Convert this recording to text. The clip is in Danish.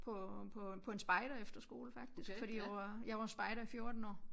På på på en spejderefterskole faktisk fordi jeg var jeg var spejder i 14 år